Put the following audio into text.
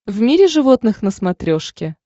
в мире животных на смотрешке